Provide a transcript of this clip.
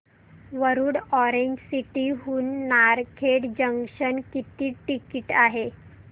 Warud orange city हून Narkhed junction किती ticket आहे